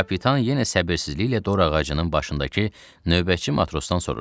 Kapitan yenə səbirsizliklə dor ağacının başındakı növbəçi matrosdan soruşdu.